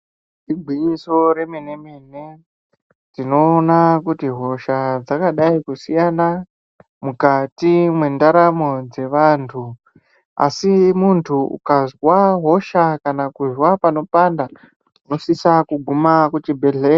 Igwinyiso re mene mene tinoona kuti hosha dzaka dai kusiyana mukati mwe ndaramo dze vantu asi muntu ukazwa hosha kana kuzwa pano panda unosisa kuguma ku chi bhedhleya.